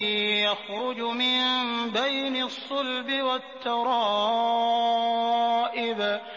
يَخْرُجُ مِن بَيْنِ الصُّلْبِ وَالتَّرَائِبِ